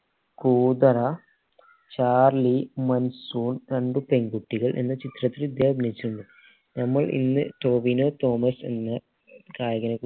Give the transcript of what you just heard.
കൂതറ Charlie രണ്ട് പെൺകുട്ടികൾ എന്ന ചിത്രത്തിൽ ഇദ്ദേഹം അഭിനയിച്ചിട്ടുണ്ട് നമ്മൾ ഇന്ന് ടോവിനോ തോമസ് എന്ന നായകനെ